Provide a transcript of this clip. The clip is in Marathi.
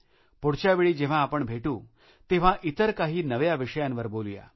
पुढच्या वेळी जेव्हा आपण भेटू तेव्हा इतर काही नव्या विषयांवर बोलूया